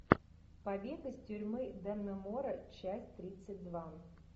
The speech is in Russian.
побег из тюрьмы даннемора часть тридцать два